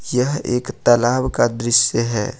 यह एक तालाब का दृश्य है।